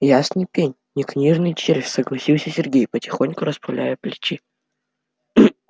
ясный пень не книжный червь согласился сергей потихоньку расправляя плечи